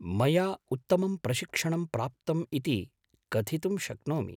मया उत्तमं प्रशिक्षणं प्राप्तम् इति कथितुं शक्नोमि।